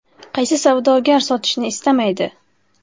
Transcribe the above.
Qaysi savdogar sotishni istamaydi?